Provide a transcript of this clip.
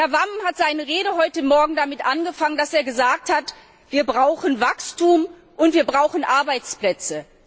Herr Wammen hat seine Rede heute Morgen damit angefangen, dass er gesagt hat Wir brauchen Wachstum, und wir brauchen Arbeitsplätze.